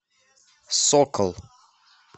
сокол